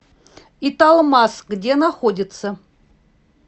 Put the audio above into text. италмас где находится